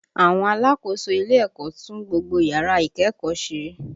Àwọn alákòóso ilé ẹ̀kọ́ tún gbogbo yàrá ìkẹ́kọ̀ọ́ ṣe